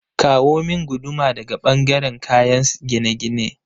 Kawo min guduma daga ɓangaren kayen gine-gine